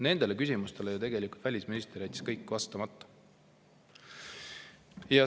Nendele küsimustele jättis välisminister ju tegelikult vastamata.